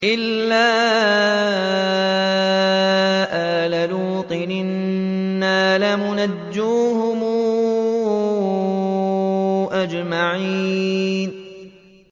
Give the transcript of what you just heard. إِلَّا آلَ لُوطٍ إِنَّا لَمُنَجُّوهُمْ أَجْمَعِينَ